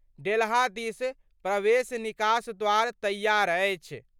डेल्हा दिस प्रवेश-निकास द्वार तैयार अछि।